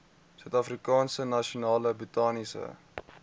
suidafrikaanse nasionale botaniese